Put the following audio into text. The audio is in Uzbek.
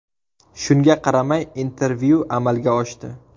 Shunga qaramay intervyu amalga oshdi.